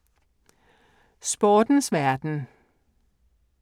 Sportens verden